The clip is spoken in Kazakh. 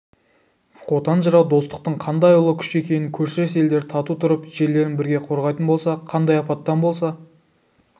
қотан жырау достықтың қандай ұлы күш екенін көршілес елдер тату тұрып жерлерін бірге қорғайтын болса қандай апаттан болса